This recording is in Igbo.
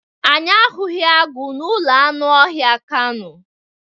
Anyị ahụghị agụ n'ụlọ anụ ọhịa kano.